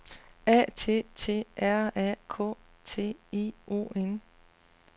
A T T R A K T I O N